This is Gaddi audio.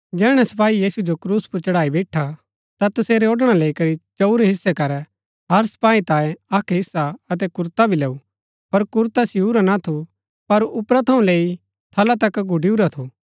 जैहणै सपाही यीशु जो क्रूस पुर चढ़ाई बैईठा ता तसेरै ओड़णा लैई करी चंऊर हिस्से करै हर सपाही तांयें अक्क हिस्सा अतै कुरता भी लैऊँ पर कुरता सियुरा ना थू पर ऊपरा थऊँ लैई थला तक गुड़ियूरा थू